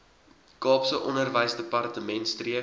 kaapse onderwysdepartement streef